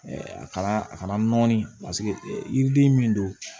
a kala a kana nɔɔni paseke yiriden min don